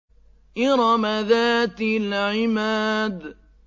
إِرَمَ ذَاتِ الْعِمَادِ